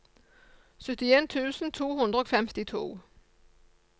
syttien tusen to hundre og femtito